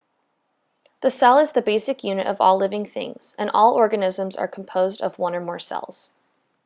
the cell is the basic unit of all living things and all organisms are composed of one or more cells